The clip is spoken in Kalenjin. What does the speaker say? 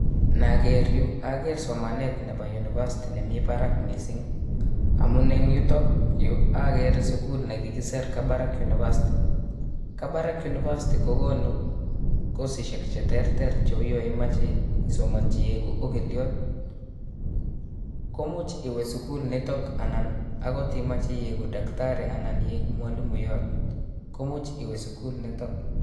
Naker yuu oker somanet nebo University nemii barak mising, amun en yutok yuu okere sukul nekikisir Kabarak University, Kabarak University kokonu kosishek cheterter cheu yoon imoche isomonchi iikuu okiliot, komuch iwee sukul nitok anan akot imoche iikuu takitari anan iikuu mwalimuyot komuch iwee sukul nitok.